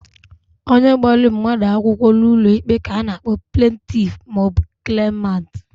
Onye gbara mmadu akwukwo n'ulo ikpe ka a na-akpo plentif ma o bu klemant.